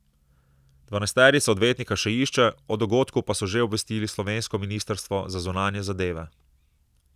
Dvanajsterica odvetnika še išče, o dogodku pa so že obvestili slovensko ministrstvo za zunanje zadeve.